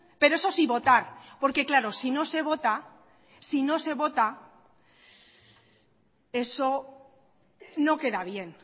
pero eso sí votar porque claro si no se vota sino se vota eso no queda bien